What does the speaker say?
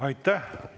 Aitäh!